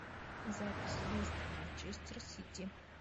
запись лестер манчестер сити